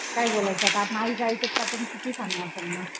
काय बोलायचं आता आपण आईच ऐकणार नाही आपण किती सांगणार त्यांना